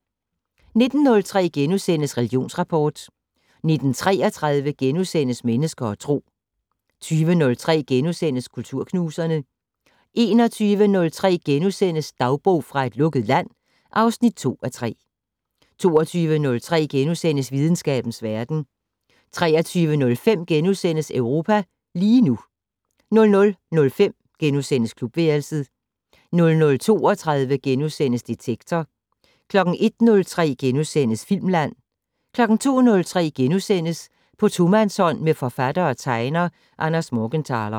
19:03: Religionsrapport * 19:33: Mennesker og Tro * 20:03: Kulturknuserne * 21:03: Dagbog fra et lukket land (2:3)* 22:03: Videnskabens Verden * 23:05: Europa lige nu * 00:05: Klubværelset * 00:32: Detektor * 01:03: Filmland * 02:03: På tomandshånd med forfatter og tegner Anders Morgenthaler *